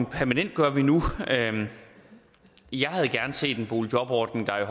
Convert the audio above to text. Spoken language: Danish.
permanentgør vi nu jeg havde gerne set en boligjobordning der i